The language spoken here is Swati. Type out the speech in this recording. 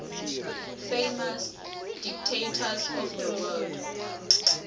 famous dictators of the world